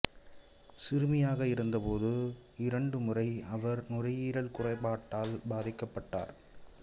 சிறுமியாக இருந்த போது இரண்டு முறை அவர் நுரையீரல் குறைபாட்டால் பாதிக்கப்பட்டார்